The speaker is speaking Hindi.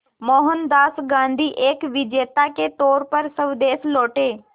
मोहनदास गांधी एक विजेता के तौर पर स्वदेश लौटे